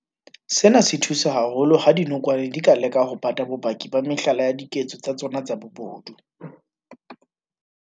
Sena se thusa haholo ha dinokwane di ka leka ho pata bopaki ba mehlala ya diketso tsa tsona tsa bobodu.